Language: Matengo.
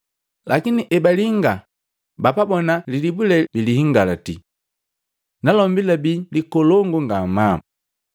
Lakini ebalinga bapabona lilibu lee bilihingaliti. Nalombi labii likolongu ngamaa.